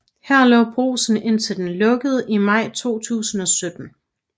Her lå Brugsen indtil den lukkede i maj 2017